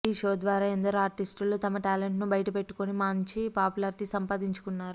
ఈ షో ద్వారా ఎందరో ఆర్టిస్టులు తమ టాలెంట్ ను బయటపెట్టుకొని మాంచి పాపులారిటీ సంపాదించుకున్నారు